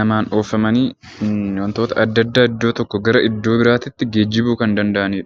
namaan oofamanii wantoota adda addaa iddoo tokkoo gara iddoo biraatitti geejjibuu kan danda'anii dha.